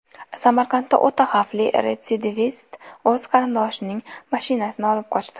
Samarqandda o‘ta xavfli retsidivist o‘z qarindoshining mashinasini olib qochdi.